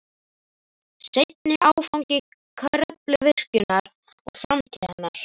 Seinni áfangi Kröfluvirkjunar og framtíð hennar